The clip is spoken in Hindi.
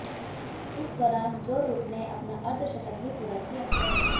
इस दौरान जो रूट ने अपना अर्धशतक भी पूरा किया